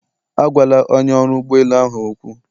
Agwala onye ọrụ ụgbọ elu ahụ okwu.